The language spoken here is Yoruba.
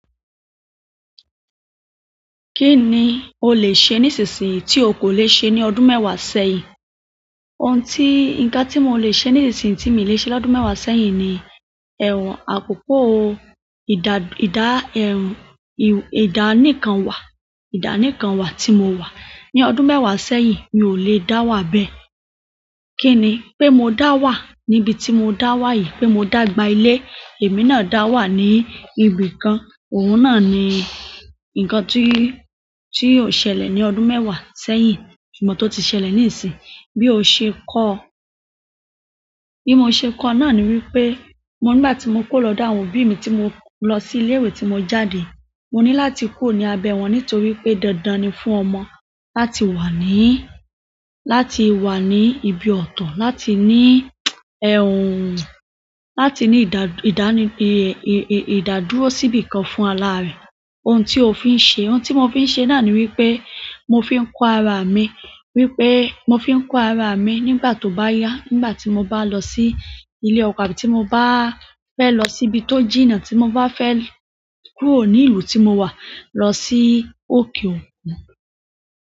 Kí ni o lè ṣe nísinsìnyí tí o kò lè ṣe ní ọdún mẹ́wàá sẹ́yìn? Nǹkan tí mo lè ṣe nísinsìnyí tí mi ò lè ṣe lọ́dún mẹ́wàá sẹ́yìn ni, àkókò ìdá níkan wà, ìdá níkan wà tí mo wà. Ní ọdún mẹ́wàá sẹ́yìn, mi ò lè dá wà bẹ́ẹ̀. Kini? Pe mo dáa wa níbí ti mo daa wà yìí, pe mo dáa gba ile, èmi náà daa wa ni ibìkan, ohun náà ni nǹkan ti o ṣẹlẹ̀ ni ọdún mẹ́wàá sẹ́yìn ṣùgbọ́n to ti ṣẹlẹ̀ nisinyi bí o ṣe kọ́, bí mo ṣe kọ́ náà ni wípé, nígbà tí mo kóo lọ́dọ̀ àwọn òbí mi tí mo lọ sí ilé-ìwé tí mo jáde, mo ní láti kóo ní abẹ́ wọn nítorí pé dandan ni fún ọmọ láti wà ní ibi ọ̀tọ̀, láti ní láti ní ìdádúró sí ibìkan fúnra laare. Ohun tí o fi ń ṣe. Ohun tí mo fi ń ṣe náà ni wípé mo fi ń kó ara mi, wípé mo fi ń kó ara mi nígbà tó bá yá, nígbà tí mo bá lọ sí ilé ọkọ àti tí mo bá fẹ́ lọ síbi tó jìnnà, tí mo bá fẹ́ kúrò ní ìlú tí mo wà lọ sí òkè òkun.